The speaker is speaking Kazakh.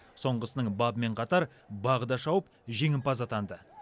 соңғысының бабымен қатар бағы да шауып жеңімпаз атанды